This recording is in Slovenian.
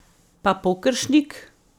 Pa Pokeršnik?